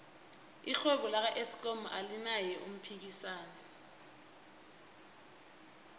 irhwebo laka eskom alinaye umphikisani